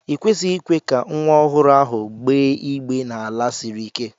I kwesịghị ikwe ka nwa ọhụrụ ahụ gbéé igbé n'ala siri ike!